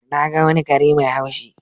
Na ga wani kare mai haushi.